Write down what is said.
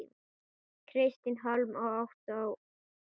Kristín Hólm og Ottó Hólm.